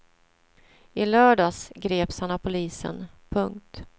I lördags greps han av polisen. punkt